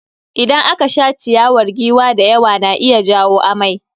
Idan aka sha ciyawar giwa da yawa na iya jawo amai.